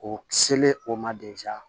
O selen o ma